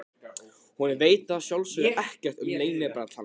Hún veit að sjálfsögðu ekkert um leynibrall hans.